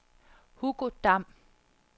Hugo Dam